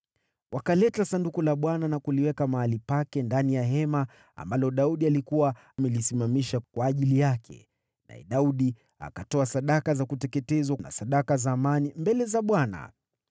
Wakaleta Sanduku la Bwana na kuliweka mahali pake ndani ya hema ambalo Daudi alikuwa amelisimamisha kwa ajili yake, naye Daudi akatoa sadaka za kuteketezwa na sadaka za amani mbele za Bwana .